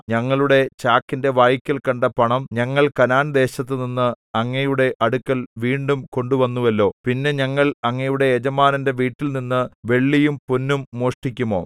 ഞങ്ങളുടെ ചാക്കിന്റെ വായ്ക്കൽ കണ്ട പണം ഞങ്ങൾ കനാൻദേശത്തുനിന്ന് അങ്ങയുടെ അടുക്കൽ വീണ്ടും കൊണ്ടുവന്നുവല്ലോ പിന്നെ ഞങ്ങൾ അങ്ങയുടെ യജമാനന്റെ വീട്ടിൽനിന്ന് വെള്ളിയും പൊന്നും മോഷ്ടിക്കുമോ